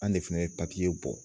An de fana ye papiye bɔ.